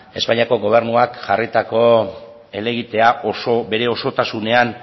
espainiako gobernuak jarritako helegitea bere osotasunean